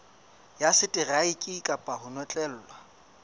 ya seteraeke kapa ho notlellwa